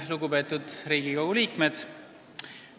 Lugupeetud Riigikogu liikmed!